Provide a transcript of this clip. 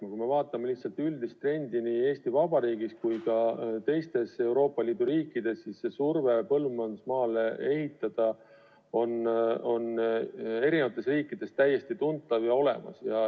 Aga kui me vaatame üldist trendi nii Eesti Vabariigis ka teistes Euroopa Liidu riikides, siis surve põllumajandusmaale ehitada on täiesti tuntav ja olemas.